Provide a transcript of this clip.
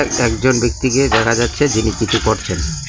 একজন ব্যক্তিকে দেখা যাচ্ছে যিনি কিছু করছেন।